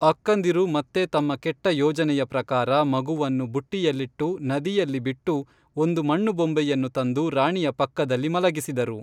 ಅಕ್ಕಂದಿರು ಮತ್ತೆ ತಮ್ಮ ಕೆಟ್ಟ ಯೋಜನೆಯ ಪ್ರಕಾರ ಮಗುವನ್ನು ಬುಟ್ಟಿಯಲ್ಲಿಟ್ಟು ನದಿಯಲ್ಲಿ ಬಿಟ್ಟು ಒಂದು ಮಣ್ಣು ಬೊಂಬೆಯನ್ನು ತಂದು ರಾಣಿಯ ಪಕ್ಕದಲ್ಲಿ ಮಲಗಿಸಿದರು